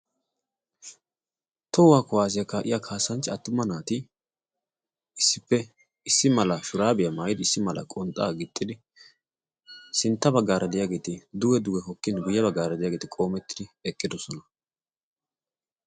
tohuwaa kuwaasiyaa kaa'iya kaasanchchi attuma naati issippe issi mala shuraabiyaa maayidi issi mala qonxxaa gixxidi sintta bagaara diyaageeti duge duwe hokkin biyiya bggaara diyaageeti qoomettidi eqqidosona